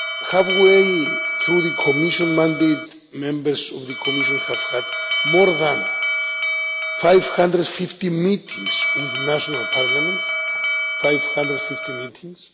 Halfway through the Commission mandate, Members of the Commission have had more than 550 meetings with national parliaments 550 meetings.